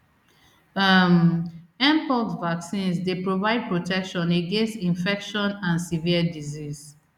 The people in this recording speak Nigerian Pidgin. um mpox vaccines dey provide protection against infection and severe disease